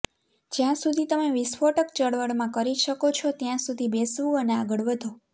જ્યાં સુધી તમે વિસ્ફોટક ચળવળમાં કરી શકો છો ત્યાં સુધી બેસવું અને આગળ વધો